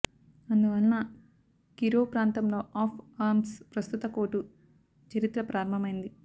అందువలన కిరోవ్ ప్రాంతంలో of arms ప్రస్తుత కోటు చరిత్ర ప్రారంభమైంది